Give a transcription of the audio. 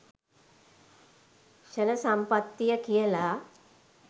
ක්ෂණ සම්පත්තිය කියල.